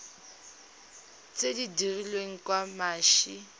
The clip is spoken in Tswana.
tse di dirilweng ka mashi